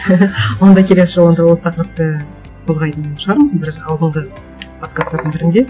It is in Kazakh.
онда келесі жолы онда осы тақырыпты қозғайтын шығармыз бір алдыңғы подкасттардың бірінде